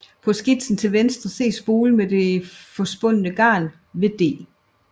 På skitsen til venstre ses spolen med det forspundne garn ved D